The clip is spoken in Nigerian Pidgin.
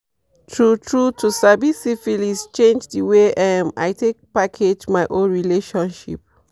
true true to sabi syphilis change the way um i take package my own relationship